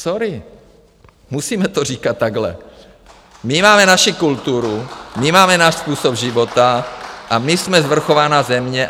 Sorry, musíme to říkat takhle, my máme naši kulturu, my máme náš způsob života a my jsme svrchovaná země.